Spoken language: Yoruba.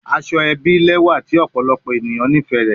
Asoebi lẹwa ti ọpọlọpọ eniyan nifẹ rẹ